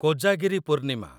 Kojagiri Purnima